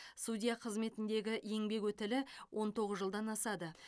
судья қызметіндегі еңбек өтілі он тоғыз жылдан асады